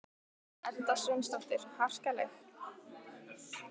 Edda Sveinsdóttir: Harkaleg?